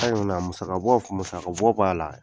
Musaka bɔ musaka bɔ b'a la.